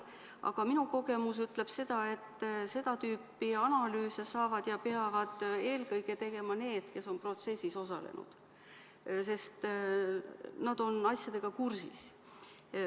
Aga minu kogemus ütleb seda, et seda tüüpi analüüse saavad teha ja peavad eelkõige tegema need, kes on protsessis osalenud, sest nad on asjadega kursis.